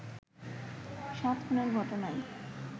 সাত খুনের ঘটনায়